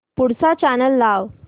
पुढचा चॅनल लाव